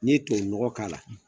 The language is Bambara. N'i ye tubabu nɔgɔ k'a la